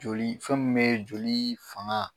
Joli fɛn min bɛ joli fanga.